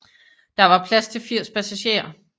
Der var plads til 80 passagerer